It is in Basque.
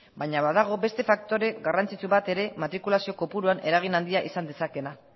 baina badago beste faktore garrantzitsu bat ere matrikulazio kopuruan eragin handia izan dezakeena